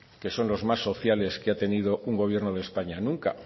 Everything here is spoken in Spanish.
que son los más sociales que ha tenido un gobierno de españa nunca